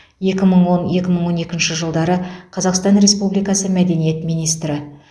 екі мың он екі мың он екінші жылдары қазақстан республикасы мәдениет министрі